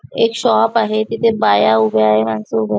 एक शॉप आहे तिथे बाया उभ्या आहे माणस उभे--